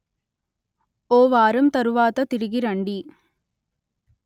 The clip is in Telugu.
ఓ వారం తరువాత తిరిగి రండి